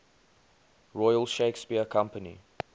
royal shakespeare company